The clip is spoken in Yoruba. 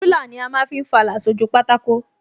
Rúlà ni a ma ń fi fàlà sójú pátákó